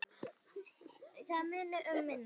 Það muni um minna.